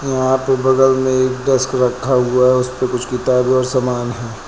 यहां पे बगल में एक डेस्क रखा हुआ है उसपे कुछ किताबें और सामान है।